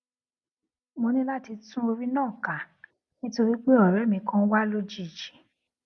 mo ní láti tún orí náà kà nítorí pé òré mi kan wá lójijì